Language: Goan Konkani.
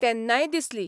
तेन्नाय दिसली